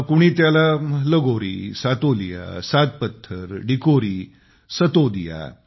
कोणी त्याला लगोरी सातोलिया सात पत्थर डिकोरी सतोदिया